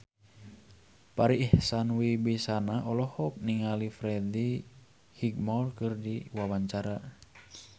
Farri Icksan Wibisana olohok ningali Freddie Highmore keur diwawancara